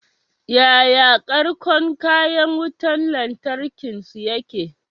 Yaya ƙarƙon kayan wutan lantarkin su yake?